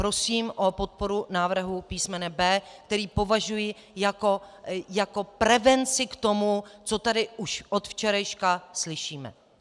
Prosím o podporu návrhu písm. B, který považuji jako prevenci k tomu, co tady už od včerejška slyšíme.